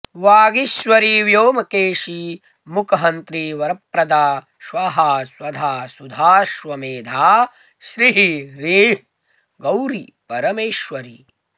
वागीश्वरी व्योमकेशी मूकहन्त्री वरप्रदा स्वाहा स्वधा सुधाश्वमेधा श्रीः ह्रीः गौरी परमेश्वरी